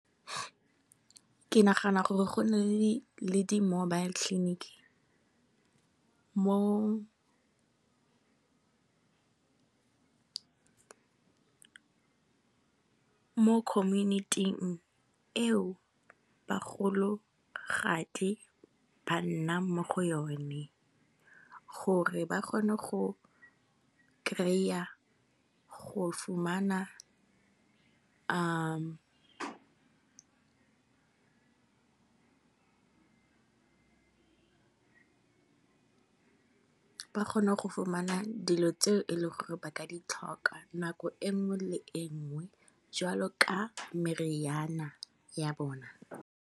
Ke nagana gore go nne le di mobile clinic. Mo khominiting eo bagologadi ba nnang mo go yone, gore ba kgone go kry-a dilo tseo e leng gore ba ka di tlhoka nako e nngwe le e nngwe jwalo ka meriana ya bona.